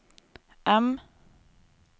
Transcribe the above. M